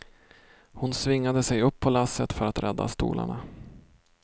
Hon svingade sig upp på lasset för att rädda stolarna.